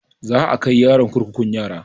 Za a kai yaron kurkukun yara